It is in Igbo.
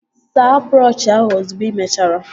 Saa brọọshi ahụ ozugbo ị mechara!